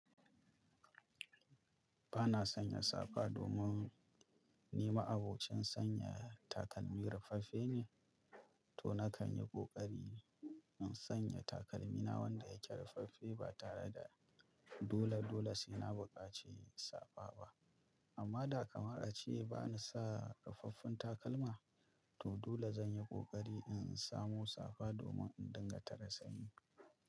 Ba na sanya safa domin ni ma'abocin sanya takalmi rufaffe ne, to na kan yi ƙoƙari in sanya takalmi na wanda yake rufaffe ba tare da dole-dole sai na buƙaci safa ba. Amma da kamar a ce ba na sa rufaffen takalma, to dole zan yi ƙoƙari in samo safa domin in dinga tare sanyi.